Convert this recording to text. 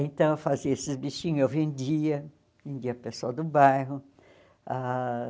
Então eu fazia esses bichinhos, eu vendia, vendia para o pessoal do bairro ah.